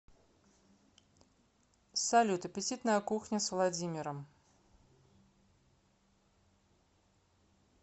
салют аппетитная кухня с владимиром